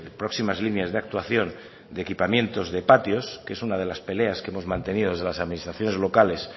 próximas líneas de actuación de equipamientos de patios que es una de las peleas que hemos mantenido desde las administraciones locales